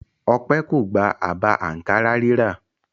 Ọpẹ́ kò gba àbá àǹkárá rírà.